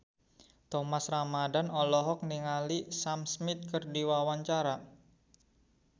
Thomas Ramdhan olohok ningali Sam Smith keur diwawancara